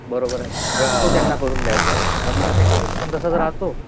बरोबर आहे. तो त्यांना करू द्यायचा. म्हणजे त्यांचा इंटरेस्ट पण तसाच राहतो.